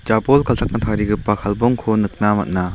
jabol galchakna tarigipa kalbongko nikna man·a.